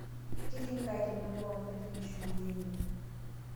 Keti nkai tenebo ontai tinishukunyenye